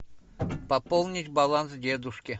пополнить баланс дедушке